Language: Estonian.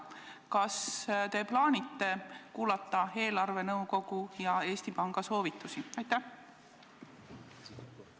Kas te plaanite kuulata eelarvenõukogu ja Eesti Panga soovitusi?